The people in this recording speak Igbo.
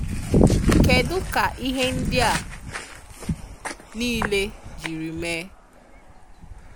Kedụ ka ihe ndị a nile jiri mee?